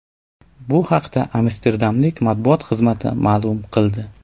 Bu haqda amsterdamliklar matbuot xizmati ma’lum qildi .